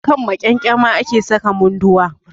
A kan maƙyangyama ake saka Munduwa.